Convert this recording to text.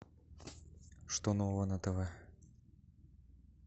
что нового на тв